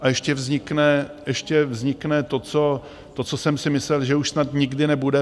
A ještě vznikne to, co jsem si myslel, že už snad nikdy nebude.